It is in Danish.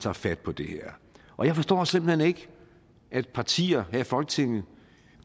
tager fat på det her og jeg forstår simpelt hen ikke at partier her i folketinget